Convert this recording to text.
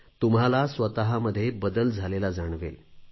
तुम्हाला स्वतमध्ये बदल झालेला जाणवेल